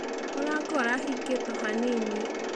Mũrango ũrahĩngĩtwo hanĩnĩ.